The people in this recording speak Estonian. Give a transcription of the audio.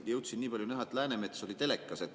Jõudsin nii palju näha, et Läänemets oli telekas.